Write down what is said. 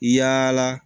Yala